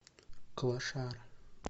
клошара